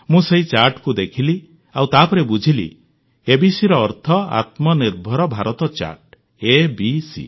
ମୁଁ ସେହି ଚାର୍ଟକୁ ଦେଖିଲି ଆଉ ତାପରେ ବୁଝିଲି ABCର ଅର୍ଥ ଆତ୍ମନିର୍ଭର ଭାରତ ଚାର୍ଟ ଏବିସି